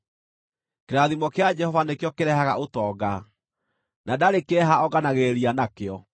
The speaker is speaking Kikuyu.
Kĩrathimo kĩa Jehova nĩkĩo kĩrehaga ũtonga, na ndarĩ kĩeha onganagĩrĩria nakĩo.